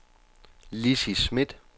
Lizzie Smidt